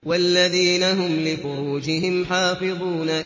وَالَّذِينَ هُمْ لِفُرُوجِهِمْ حَافِظُونَ